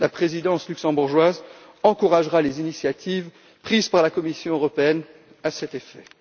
La présidence luxembourgeoise encouragera les initiatives prises par la Commission européenne à cet effet.